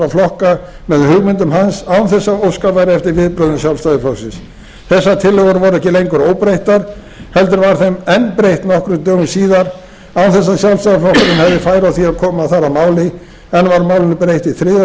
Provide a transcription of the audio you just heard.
flokka með hugmyndum hans án þess að óskað væri eftir viðbrögðum sjálfstæðisflokksins þessar tillögur voru ekki lengur óbreyttar heldur var þeim enn breytt nokkrum dögum síðar án þess að sjálfstæðisflokkurinn hefði færi á því að koma þar að máli enn var málinu breytt í þriðja